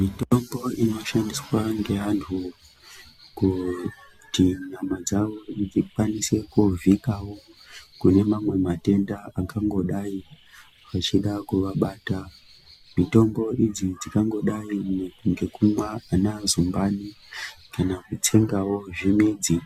Mitombo inoshandiswa ngeantu kuti nyama dzawo dzikwanise kuzvikavha kune mamwe matenda angadai achida kuvabata . Mitombo idzi dzingangodai ngekumwa ana Zumbani kana kutsengawo zvimidzi